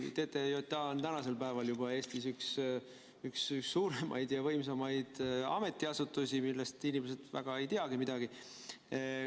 TTJA on tänasel päeval juba Eestis üks suurimaid ja võimsamaid ametiasutusi, millest inimesed väga ei teagi midagi.